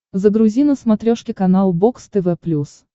загрузи на смотрешке канал бокс тв плюс